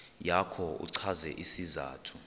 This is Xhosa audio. yakho uchaze isizathu